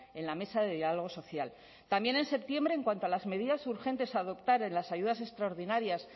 en la mesa de diálogo social también en septiembre en cuanto a las medidas urgentes a adoptar en las ayudas extraordinarias